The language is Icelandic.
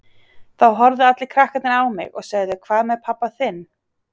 Þá horfðu allir krakkarnir á mig og sögðu Hvað með pabba þinn?